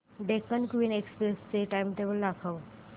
Deccan Queen Express चे timetable दाखव